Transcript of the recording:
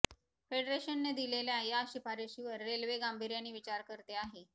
फेडरेशनने दिलेल्या या शिफारशीवर रेल्वे गांभीर्याने विचार करते आहे